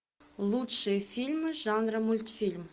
лучшие фильмы жанра мультфильм